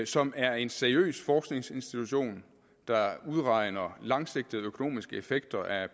som er en seriøs forskningsinstitution der udregner langsigtede økonomiske effekter af